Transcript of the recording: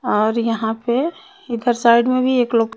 और यहाँ पे इधर साईड में भी एक लो--